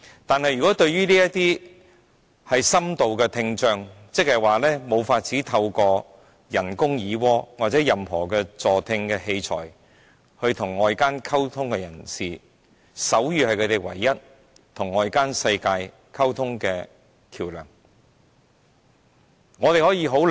但是，對於這些深度聽障人士，他們無法透過人工耳蝸或其他助聽器材與外界溝通，手語便是他們唯一的溝通橋樑。